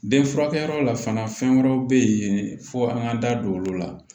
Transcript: Den furakɛyɔrɔ la fana fɛn wɛrɛw bɛ yen fo an k'an da don olu la